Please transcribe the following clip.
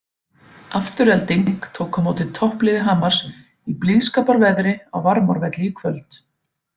Afturelding tók á móti toppliði Hamars í blíðskaparveðri á Varmárvelli í kvöld.